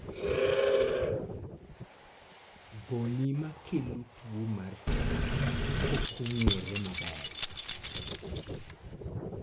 goni makelo tuo mar Freiberg's pok ong'ere maber